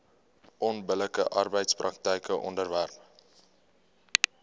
onbillike arbeidspraktyke onderwerp